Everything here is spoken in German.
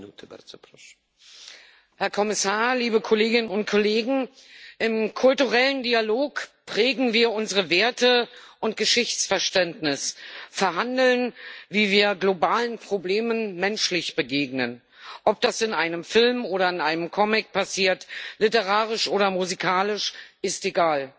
Herr Präsident, Herr Kommissar, liebe Kolleginnen und Kollegen! Im kulturellen Dialog prägen wir unsere Werte und unser Geschichtsverständnis, verhandeln, wie wir globalen Problemen menschlich begegnen ob das in einem Film oder in einem Comic passiert, literarisch oder musikalisch, ist egal.